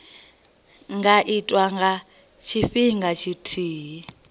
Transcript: nga itwa nga tshifhinga tshithihi